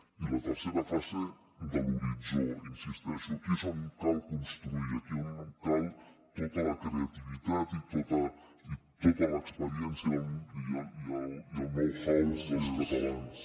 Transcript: i la tercera fase de l’horitzó hi insisteixo aquí és on cal construir aquí és on cal tota la creativitat i tota l’experiència i el know how dels catalans